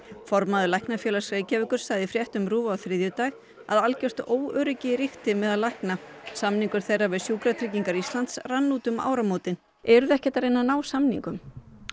formaður Læknafélags Reykjavíkur sagði í fréttum RÚV á þriðjudag að algjört óöryggi ríki meðal lækna samningur þeirra við Sjúkratryggingar Íslands rann út um áramótin eruð þið ekkert að reyna að ná samningum